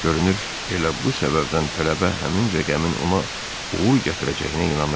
Görünür elə bu səbəbdən tələbə həmin rəqəmin ona uğur gətirəcəyinə inanırdı.